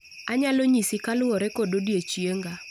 Anyalo nyisi kaluwore kod odiechienga